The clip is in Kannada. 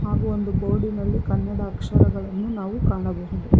ಹಾಗು ಒಂದು ಬೋರ್ಡಿನಲ್ಲಿ ಕನ್ನಡ ಅಕ್ಷರಗಳನ್ನು ನಾವು ಕಾಣಬಹುದು.